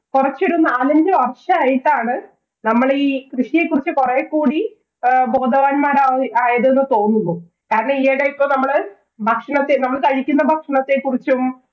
കൊറച്ചൊരു നാലഞ്ച് വര്‍ഷമായിട്ടാണ് നമ്മള് ഈ കൃഷിയെകുറിച്ച് കൊറേ കൂടി ബോധവാന്മാ~ആയത് എന്ന് തോന്നുന്നു. കാരണം, ഈയെടെ ഇപ്പം നമ്മള് ഭക്ഷണമൊക്കെ നമ്മള് കഴിക്കുന്ന ഭക്ഷണത്തെ കുറിച്ചും